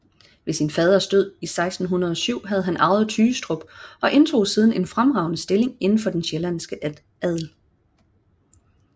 Ved sin faders død 1607 havde han arvet Tygestrup og indtog siden en fremragende stilling inden for den sjællandske adel